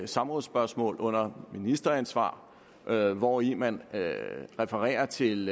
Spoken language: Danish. samrådsspørgsmål under ministeransvar hvori man refererer til